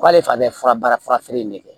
K'ale fana bɛ fura baara fara feere in de kan